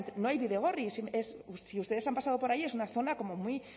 no hay bidegorris si ustedes han pasado por ahí es una zona como muy